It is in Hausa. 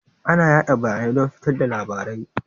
Ana yada bayanai don fitar da labarai.